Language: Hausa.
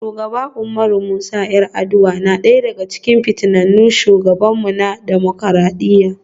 Shugaba Umaru Musa 'Yar'aduwa na daya daga cikin fitattun shugabanmu na dimokuradiyya.